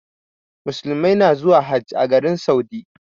Muslimai na zuwa Hajj a garin Saudi.